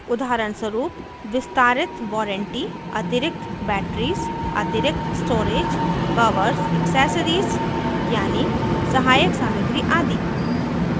उदाहरणस्वरूप विस्तारित वारंटी अतिरिक्त बैटरीज़ अतिरिक्त स्टोरेज कवर्स ऐक्सेसरीज़ यानी सहायक सामग्री आदि